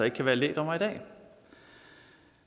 ikke kan være lægdommer i dag